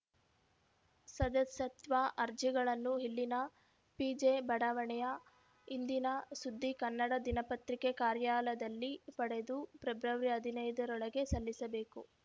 ಸದಸ್ಯತ್ವ ಅರ್ಜಿಗಳನ್ನು ಇಲ್ಲಿನ ಪಿಜೆ ಬಡಾವಣೆಯ ಇಂದಿನ ಸುದ್ದಿ ಕನ್ನಡ ದಿನಪತ್ರಿಕೆ ಕಾರ್ಯಾಲಯದಲ್ಲಿ ಪಡೆದು ಫೆಬ್ರವರಿ ಹದಿನೈದರೊಳಗೆ ಸಲ್ಲಿಸಬೇಕು